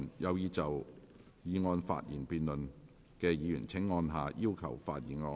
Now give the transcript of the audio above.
有意就議案辯論發言的議員請按下"要求發言"按鈕。